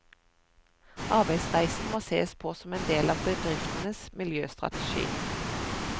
Arbeidsreisen må sees på som en del av bedriftenes miljøstrategi.